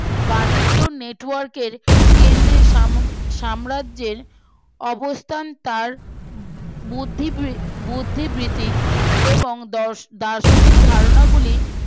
বাণিজ্য Network এর কেন্দ্রে সাম সাম্রাজ্যে অবস্থান তার বুর্দ্ধি বুদ্ধি জীবিক এবং দর্শ দার্শনিক ধারণাগুলি